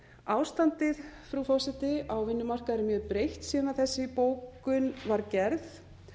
ástandið á vinnumarkaði frú forseti er mjög breytt síðan þessi bókun var gerð